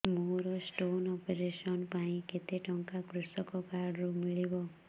ମୋର stone operation ପାଇଁ କେତେ ଟଙ୍କା କୃଷକ କାର୍ଡ ରୁ ମିଳିବ